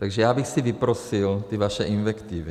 Takže já bych si vyprosil ty vaše invektivy.